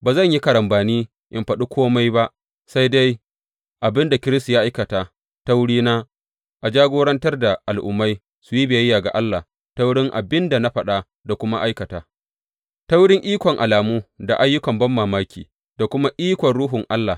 Ba zan yi karambani in faɗi kome ba sai dai abin da Kiristi ya aikata ta wurina a jagorantar da Al’ummai su yi biyayya ga Allah ta wurin abin da na faɗa da kuma aikata ta wurin ikon alamu da ayyukan banmamaki, da kuma ikon Ruhun Allah.